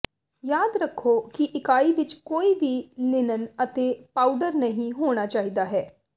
ਯਾਦ ਰੱਖੋ ਕਿ ਇਕਾਈ ਵਿਚ ਕੋਈ ਵੀ ਲਿਨਨ ਅਤੇ ਪਾਊਡਰ ਨਹੀਂ ਹੋਣਾ ਚਾਹੀਦਾ ਹੈ